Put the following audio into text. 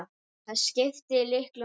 Það skipti litlu máli.